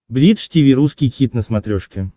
бридж тиви русский хит на смотрешке